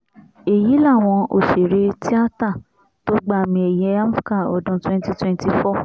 èyí làwọn òṣèré tìata tó gba àmì ẹ̀yẹ amvca ọdún twenty twenty four